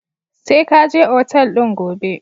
Sai ka je otal din gobe!